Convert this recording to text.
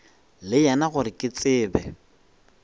le yena gore ke tsebe